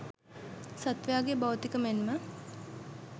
සත්ත්වයාගේ භෞතික මෙන්ම